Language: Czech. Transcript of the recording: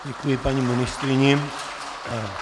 Děkuji paní ministryni.